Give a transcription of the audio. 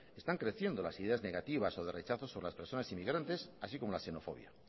están creciendo las ideas negativas o de rechazo sobre las personas inmigrante así como la xenofobia